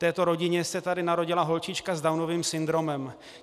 Této rodině se tady narodila holčička s Downovým syndromem.